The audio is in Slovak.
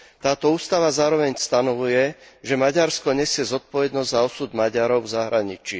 Táto ústava zároveň stanovuje, že Maďarsko nesie zodpovednosť za osud Maďarov v zahraničí.